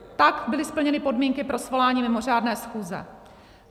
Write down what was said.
Tak byly splněny podmínky pro svolání mimořádné schůze.